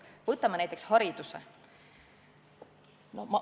Võtame näiteks hariduse.